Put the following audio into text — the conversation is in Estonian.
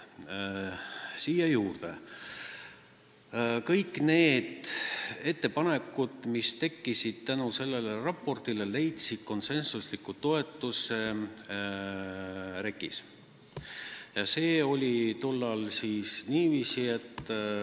Lisan siia juurde, et kõik need ettepanekud, mis tekkisid tänu sellele raportile, leidsid REKK-is konsensusliku toetuse.